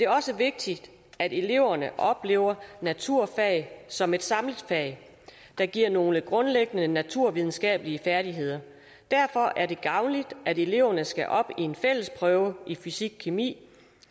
også vigtigt at eleverne oplever naturfag som et samlet fag der giver nogle grundlæggende naturvidenskabelige færdigheder derfor er det gavnligt at eleverne skal op i en fælles prøve i fysikkemi